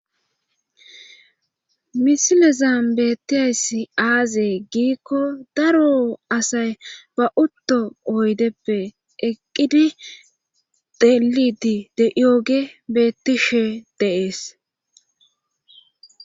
misilezan beettiyayssi aazee giikko daro asay ba utto oydeppe eqqidi delidi de yooge bettishe deees